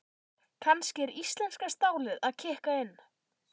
Kannski er íslenska stálið að kikka inn?